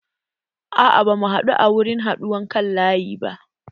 A'a ba mu haɗu a wurin haɗuwan kan laƴi ba.